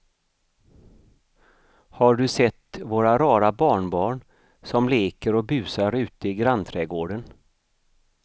Har du sett våra rara barnbarn som leker och busar ute i grannträdgården!